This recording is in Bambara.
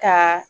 Ka